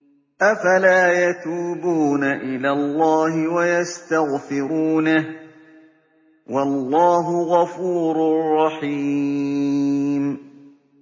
أَفَلَا يَتُوبُونَ إِلَى اللَّهِ وَيَسْتَغْفِرُونَهُ ۚ وَاللَّهُ غَفُورٌ رَّحِيمٌ